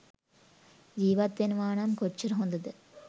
ජීවත් වෙනවා නම් කොච්චර හොඳද?